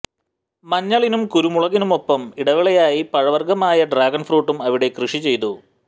മഞ്ഞളിനും കുരുമുളകിനുമൊപ്പം ഇടവിളയായി പഴവര്ഗമായ ഡ്രാഗണ് ഫ്രൂട്ടും അവിടെ കൃഷി ചെയ്തു